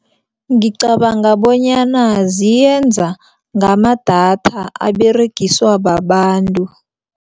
Ngicabanga bonyana ziyenza ngamadatha aberegiswa babantu.